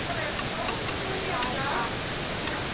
Hæ, Axel.